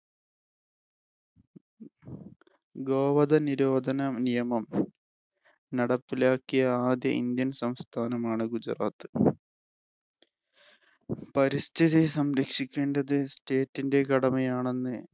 ഗോവധനിരോധന നിയമം നടപ്പിലാക്കിയ ആദ്യ Indian സംസ്ഥാനമാണ് ഗുജറാത്ത്. പരിസ്ഥിതി സംരക്ഷിക്കേണ്ടത് state ഇന്‍റെ കടമയാണെന്നു